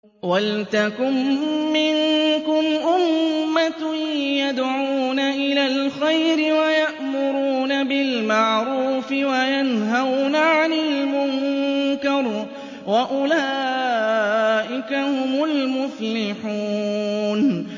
وَلْتَكُن مِّنكُمْ أُمَّةٌ يَدْعُونَ إِلَى الْخَيْرِ وَيَأْمُرُونَ بِالْمَعْرُوفِ وَيَنْهَوْنَ عَنِ الْمُنكَرِ ۚ وَأُولَٰئِكَ هُمُ الْمُفْلِحُونَ